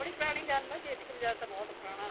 ਬੜੀ ਪੁਰਾਣੀ ਗੱਲ ਏ ਚੇਤਕ ਬਜਾਜ ਤਾਂ ਬਹੁਤ ਪੁਰਾਣਾ